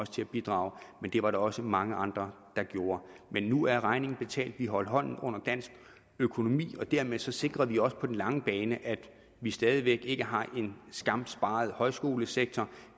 til at bidrage men det var der også mange andre der gjorde men nu er regningen betalt vi holdt hånden under dansk økonomi og dermed sikrede vi også på den lange bane at vi stadig væk ikke har en skamsparet højskolesektor